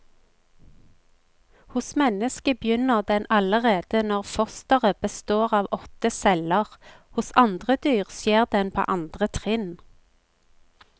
Hos mennesket begynner den allerede når fosteret består av åtte celler, hos andre dyr skjer den på andre trinn.